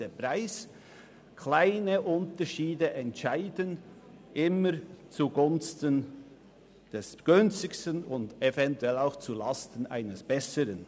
kleine Unterschiede entscheiden stets zugunsten des günstigsten Anbieters, eventuell auch zulasten eines besseren.